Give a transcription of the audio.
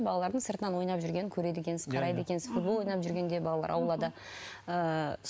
балалардың сыртынан ойнап жүргенін көреді екенсіз қарайды екенсіз футбол ойнап жүргенде балалар аулада ыыы